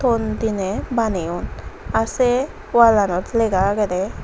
ton diney baneyon ar se wallanot lega agede.